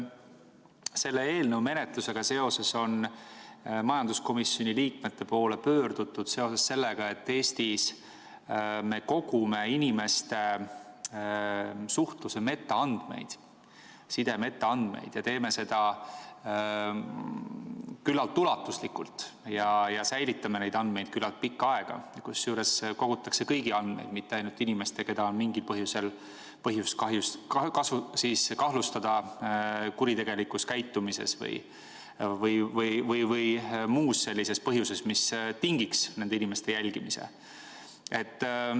Selle eelnõu menetlusega seoses on majanduskomisjoni liikmete poole pöördutud seoses sellega, et Eestis me kogume inimeste suhtluse metaandmeid, side metaandmeid, ja teeme seda küllalt ulatuslikult ja säilitame neid andmeid küllalt pikka aega, kusjuures kogutakse kõigi andmeid, mitte ainult inimeste omi, keda on mingil põhjusel põhjust kahtlustada kuritegelikus käitumises, või on muu selline põhjus, mis tingiks nende inimeste jälgimise.